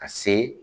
Ka se